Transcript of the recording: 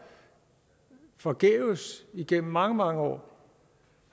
forgæves igennem mange mange år